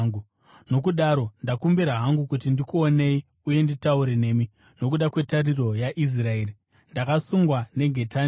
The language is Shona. Nokudaro ndakumbira hangu kuti ndikuonei uye nditaure nemi. Nokuda kwetariro yaIsraeri ndakasungwa nengetani iyi.”